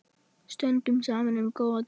Stöndum saman um góða tíma.